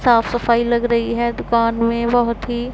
साफ सफाई लग रही है दुकान में बहोत ही--